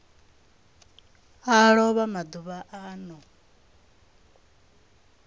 a lova maḓuvha a no